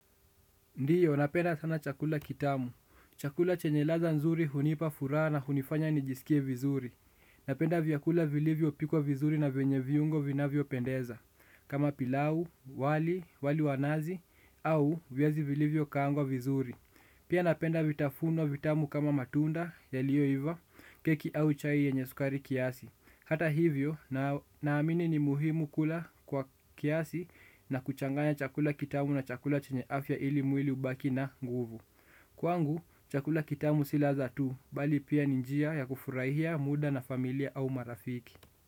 Ndiyo, napenda sana chakula kitamu. Chakula chenye ladha nzuri hunipa furaha na hunifanya nijisikie vizuri. Napenda vyakula vilivyo pikwa vizuri na vyenye viungo vinavyo pendeza. Kama pilau, wali, wali wanazi, au viazi vilivyo kaangwa vizuri. Pia napenda vitafunwa vitamu kama matunda, ya liyo iva, keki au chai yenye sukari kiasi. Hata hivyo, naamini ni muhimu kula kwa kiasi na kuchanganya chakula kitamu na chakula chenye afya ili mwili ubaki na nguvu. Kwangu, chakula kitamu si ladha tu, bali pia ni njia ya kufurahia muda na familia au marafiki.